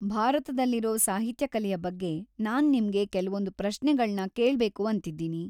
ಭಾರತದಲ್ಲಿರೋ ಸಾಹಿತ್ಯ ಕಲೆಯ ಬಗ್ಗೆ ನಾನ್ ನಿಮ್ಗೆ ಕೆಲ್ವೊಂದ್ ಪ್ರಶ್ನೆಗಳ್ನ ಕೇಳ್ಬೇಕು ಅಂತಿದ್ದೀನಿ.